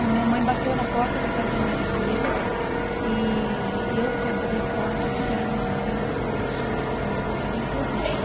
Minha mãe bateu na porta da casa da minha tia e eu que abri a porta, eu vi que era minha mãe, e ela falou, chama seus irmãos e vem correndo.